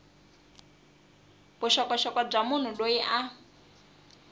vuxokoxoko bya munhu loyi a